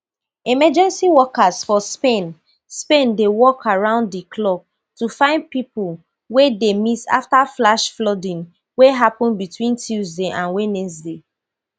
emergency workers for spain spain dey work around di clock to find pipo wey dey miss afta flash flooding wey happen between tuesday and wednesday